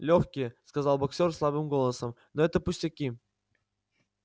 лёгкие сказал боксёр слабым голосом но это пустяки